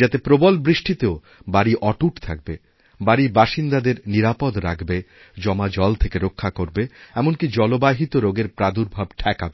যাতে প্রবল বৃষ্টিতেও বাড়ি অটুট থাকবেবাড়ির বাসিন্দাদের নিরাপদ রাখবে জমা জল থেকে রক্ষা করবে এমনকি জলবাহিত রোগেরপ্রাদুর্ভাব ঠেকাবে